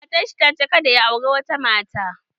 Matan shi ta ce kada ya auri wata mata